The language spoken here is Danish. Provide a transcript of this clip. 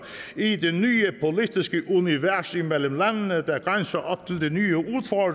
i det nye politiske univers imellem landene der grænser op til de nye